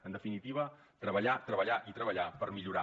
en definitiva treballar treballar i treballar per millorar